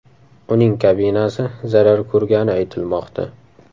Uning kabinasi zarar ko‘rgani aytilmoqda.